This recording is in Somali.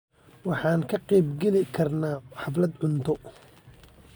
Waxaan ka qaybgeli karnaa xaflad cunto.